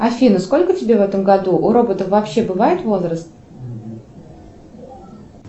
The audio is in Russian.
афина сколько тебе в этом году у роботов вообще бывает возраст